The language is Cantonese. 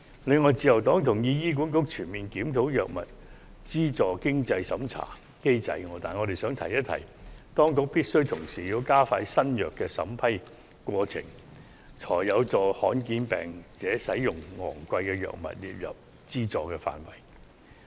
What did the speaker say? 此外，自由黨同意醫院管理局應全面檢討藥物資助經濟審查機制，但我們亦想一提，當局必須同時加快新藥審批程序，才可有助把罕見病患者使用的昂貴藥物納入資助範圍。